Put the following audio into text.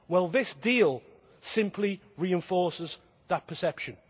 This deal simply reinforces that perception.